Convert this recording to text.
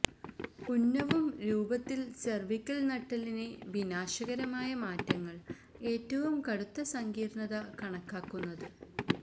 ഉന്നവും രൂപത്തിൽ സെർവിക്കൽ നട്ടെല്ലിനെ വിനാശകരമായ മാറ്റങ്ങൾ ഏറ്റവും കടുത്ത സങ്കീര്ണ്ണത കണക്കാക്കുന്നത്